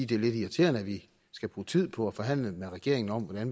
det er lidt irriterende at vi skal bruge tid på at forhandle med regeringen om at